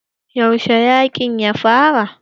Yaushe yaƙin ya fara?